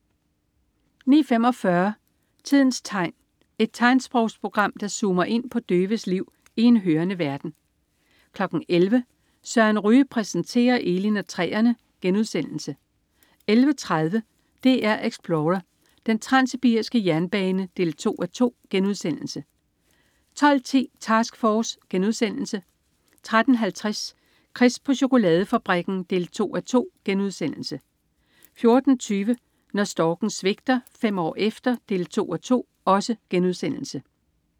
09.45 Tidens tegn. Et tegnsprogsprogram, der zoomer ind på døves liv i en hørende verden 11.00 Søren Ryge præsenterer Elin og træerne* 11.30 DR Explorer: Den transsibiriske jernbane 2:2* 12.10 Task Force* 13.50 Chris på chokoladefabrikken 2:2* 14.20 Når storken svigter. Fem år efter 2:2*